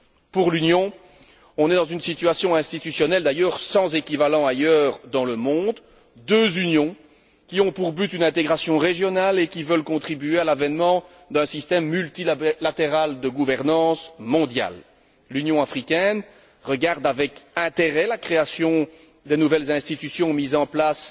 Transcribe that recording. Pour l'Union, on est dans une situation institutionnelle sans équivalent ailleurs dans le monde deux Unions qui ont pour but une intégration régionale et qui veulent contribuer à l'avènement d'un système multilatéral de gouvernance mondiale. L'Union africaine regarde avec intérêt la création des nouvelles institutions mises en place